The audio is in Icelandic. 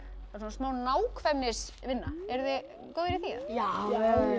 svona smá nákvæmnisvinna eruð þið góðir í því já